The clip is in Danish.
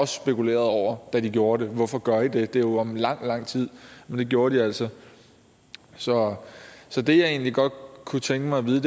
spekulerede over da de gjorde det hvorfor gør i det det er jo om lang lang tid men det gjorde de altså så så det jeg egentlig godt kunne tænke mig at vide